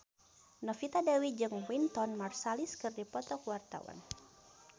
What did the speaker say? Novita Dewi jeung Wynton Marsalis keur dipoto ku wartawan